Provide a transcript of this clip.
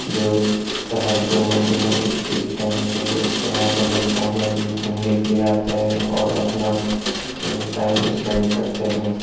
जो शहर के मध्य में स्थित है जो यहाँ पर लोग शाम में घूमने के लिए आते हैं और अपना ह टाइम स्पेंड करते हैं।